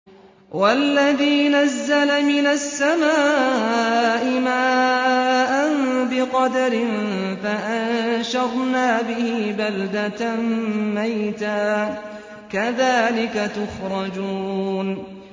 وَالَّذِي نَزَّلَ مِنَ السَّمَاءِ مَاءً بِقَدَرٍ فَأَنشَرْنَا بِهِ بَلْدَةً مَّيْتًا ۚ كَذَٰلِكَ تُخْرَجُونَ